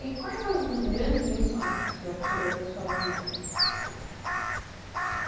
E quais as grandes lições que o senhor tirou da sua vida?